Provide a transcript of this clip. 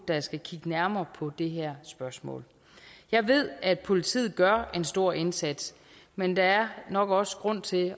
der skal kigge nærmere på det her spørgsmål jeg ved at politiet gør en stor indsats men der er nok også grund til